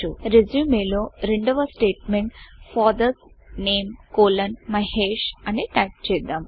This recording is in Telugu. resumeరెస్యూమె లో రెండవ స్టేట్మెంట్ ఫాదర్స్ నేమ్ కోలోన్ MAHESHఫాదర్స్ నేమ్ కోలన్ మహేష్అని టైపు చేద్దాం